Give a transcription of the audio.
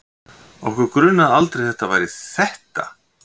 Okkur grunaði aldrei að það væri ÞETTA!